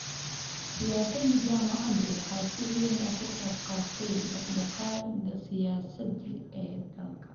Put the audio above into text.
Siyaasadda jaamacaduhu waxay si weyn uga qayb qaadatay dhaqdhaqaaqyada siyaasadeed ee dalka.